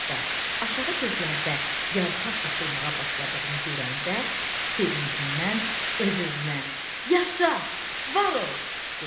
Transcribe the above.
Hətta aşağı gözlərdə yarpaq açılmağa başladığını görəndə sevincindən öz-özünə: “Yaşa! Var ol!” dedi.